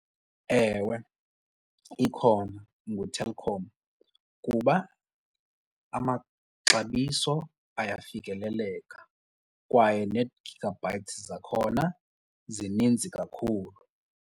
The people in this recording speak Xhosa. Ewe, ikhona nguTelkom kuba amaxabiso ayafikeleleka kwaye nee-gigabytes zakhona zininzi kakhulu.